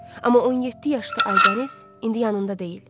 Amma 17 yaşlı Aybəniz indi yanında deyil.